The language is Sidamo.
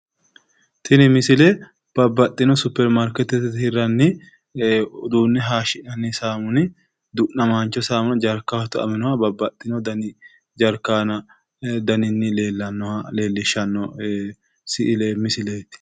tini misile babbaxxxino superimarkeettete hirraanni uduunne hayiishshi'nanni du'namaancho saamuna jaarkaho tu"aminoha babbaxxino daninni tu"amino jaark aleellishshanno misileeti